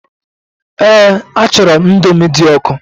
Eé, achọrọ m Indomi dị ọkụ.